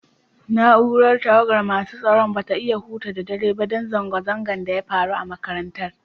Naúrar tawagan masun tsaron ba su iya huta da dare ba dan zanga-zangan da ya faru a'makarantan.